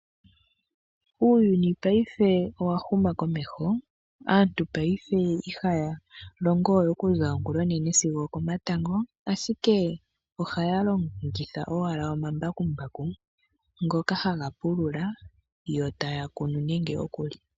Uuyuni paife owa huma komeho . Aantu paife ihaya longowe okuza ongula onene sigo okomatango. Ashike ohaya longitha owala omambakumbaku ngoka haga pulula yo taya kunu nande okuli.